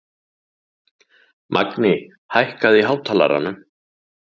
Magni, hækkaðu í hátalaranum.